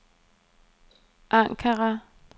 Ankara